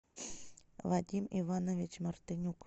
вадим иванович мартынюк